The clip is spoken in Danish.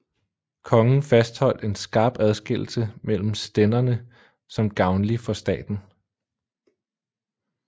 Kongen fastholdt en skarp adskillelse mellem stænderne som gavnlig for staten